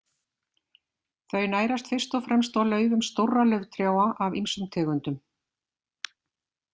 Þau nærast fyrst og fremst á laufum stórra lauftrjáa af ýmsum tegundum.